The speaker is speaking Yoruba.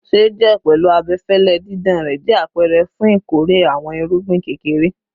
Ṣẹjẹ, pẹlu abẹfẹlẹ didan rẹ, jẹ apẹrẹ fun ikore awọn irugbin kekere